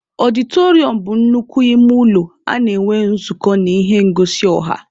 Ọdịtọrịọm bụ nnukwu ime ụlọ a na-enwe nzukọ na ihe ngosi ọha.